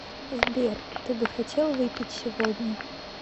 сбер ты бы хотел выпить сегодня